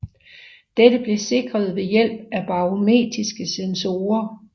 Dette blev sikret ved hjælp af barometriske sensorer